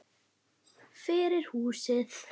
Fyrir húsið.